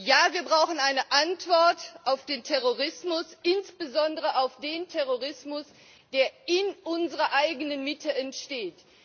Ja, wir brauchen eine Antwort auf den Terrorismus, insbesondere auf den Terrorismus, der in unserer eigenen Mitte entsteht!